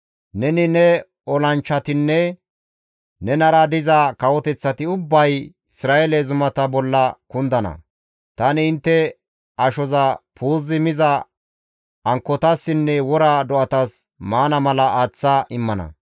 Neni, ne olanchchatinne nenara diza kawoteththati ubbay Isra7eele zumata bolla kundana; tani intte ashoza puuzi miza ankkotassinne wora do7atas maana mala aaththa immana.